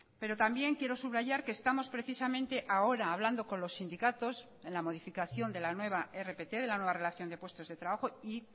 pero también quiero subrayar que estamos precisamente ahora hablando con los sindicatos en la modificación de la nueva rpt de la nueva relación de puestos de trabajo y